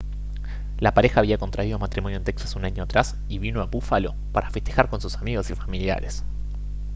la pareja había contraído matrimonio en texas un año atrás y vino a búfalo para festejar con sus amigos y familiares